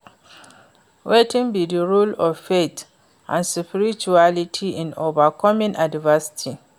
Wetin be di role of faith and spirituality in overcoming adversity?